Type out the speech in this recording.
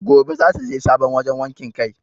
Gobe zata je sabon wajan wakin kai